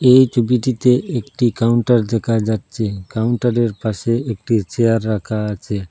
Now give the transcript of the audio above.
এই ছবিটিতে একটি কাউন্টার দেখা যাচ্ছে কাউন্টারের পাশে একটি চেয়ার রাখা আছে।